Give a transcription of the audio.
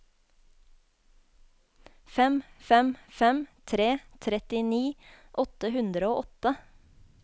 fem fem fem tre trettini åtte hundre og åtte